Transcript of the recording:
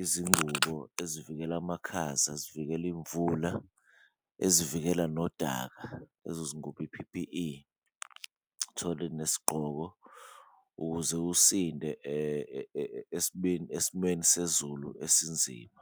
izingubo ezivikela amakhaza, zivikele imvula, ezivikela nodaka lezo zingubo i-P_P_E, uthole nesigqoko ukuze usinde esimweni sezulu esinzima.